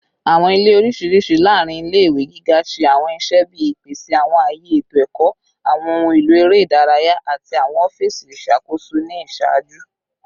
Awọn ile oriṣiriṣi laarin ile-iwe giga ṣe awọn iṣẹ bii ipese awọn aye eto ẹkọ, awọn ohun elo ere idaraya, ati awọn ọfiisi iṣakoso ni iṣaaju